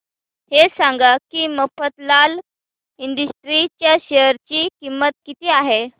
हे सांगा की मफतलाल इंडस्ट्रीज च्या शेअर ची किंमत किती आहे